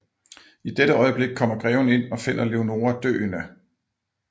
I dette øjeblik kommer greven ind og finder Leonora døende